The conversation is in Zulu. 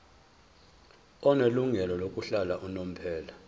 onelungelo lokuhlala unomphela